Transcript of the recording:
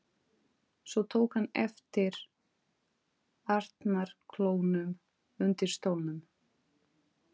Svo tók hann eftir arnarklónum undir stólnum.